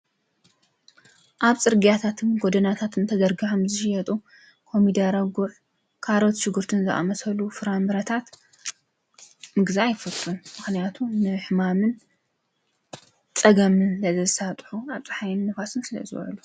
ኣብ ፅርግያታትን ጎደናታትን ተዘርጊሖም ዝሽየጡ ኮሚደረ፣ ጉዕ ፣ካሮት ፣ሽጉርትን ዝኣመሰሉ ፍራምረታት ምግዛእ ኣይፈቱን። ምክንያቱም ንሕማምን ፀገምን ስለ ዘሳጥሑ ኣብ ፅሓይን ፣ንፋስን ስለ ዝዉዕሉ።